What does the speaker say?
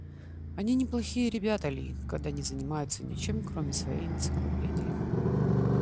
они неплохие ребята ли когда не занимаются ничем кроме своей энциклопедии